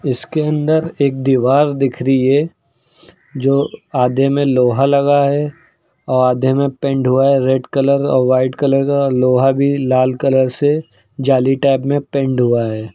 इसके अंदर एक दीवार दिखरी है जो आधे में लोहा लगा है औ आधे में पेंट हुआ है रेड कलर औ व्हाइट कलर अ लोहा भी लाल कलर से जाली टाइप में पेंड हुआ है।